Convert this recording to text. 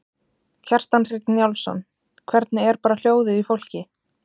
Kjartan Hreinn Njálsson: Hvernig er bara hljóðið í fólki?